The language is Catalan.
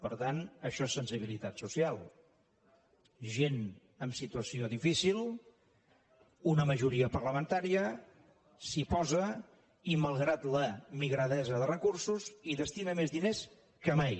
per tant això és sensibilitat social gent amb situació difícil una majoria parlamentària s’hi posa i malgrat la migradesa de recursos hi destina més diners que mai